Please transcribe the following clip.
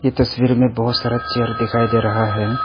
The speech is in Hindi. तस्वीर में बहोत सारा चेयर दिखाई दे रहा है।